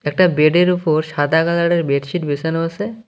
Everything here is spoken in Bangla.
একটা বেড -এর উপর সাদা কালার -এর বেড শীট বেছানো আছে।